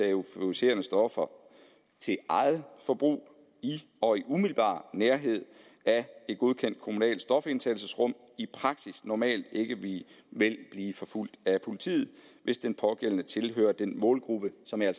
af euforiserende stoffer til eget forbrug i og i umiddelbar nærhed af et godkendt kommunalt stofindtagelsesrum i praksis normalt ikke blive forfulgt af politiet hvis den pågældende tilhører den målgruppe som jeg